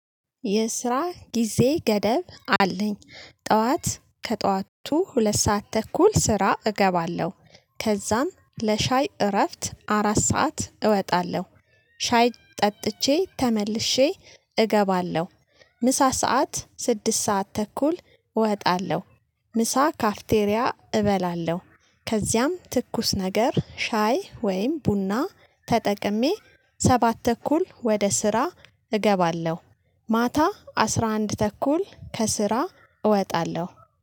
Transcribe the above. የስራ ጊዜ ገደብ አለኝ። ጠዋት ከጠዋቱ ሁለት ሰዓት ተኩል ስራ እገባለሁ። ከዛም ለሻይ እረፍት አራት ሰዓት እወጣለሁ። ሻይ ጠጥቼ ተመልሼ እገባለሁ። ምሳ ሰዓት ስድስት ሰዓት ተኩል እወጣለሁ። ምሳ ካፍቴሪያ እበላለሁ። ከዚያም ትኩስ ነገር ሻይ ወይም ቡና ተጠቅሜ ሰባት ተኩል ወደ ስራ እገባለሁ። ማታ አስራ አንድ ተኩል ከስራ እወጣለሁ።